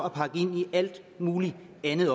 at pakke ind i alt muligt andet